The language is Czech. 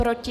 Proti?